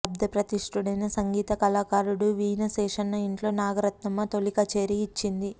లబ్ధప్రతిష్ఠుడైన సంగీత కళాకారుడు వీణ శేషన్న ఇంట్లో నాగరత్నమ్మ తొలి కచేరీ ఇచ్చింది